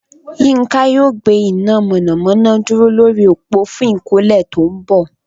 Yinka yóò gbé iná mọ̀nàmọ́ná dúró lórí òpó fún ìkọ́lé tó ń bọ̀